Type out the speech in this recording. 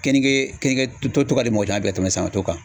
Keninke keninke to ka di mɔgɔ caman ye bi ka tɛmɛ sanɲɔto kan.